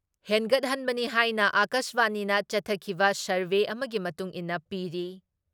ꯍꯦꯟꯒꯠꯍꯟꯕꯅꯤ ꯍꯥꯏꯅ ꯑꯀꯥꯁꯕꯥꯅꯤꯅ ꯆꯠꯊꯈꯤꯕ ꯁꯔꯚꯦ ꯑꯃꯒꯤ ꯃꯇꯨꯡ ꯏꯟꯅ ꯄꯤꯔꯤ ꯫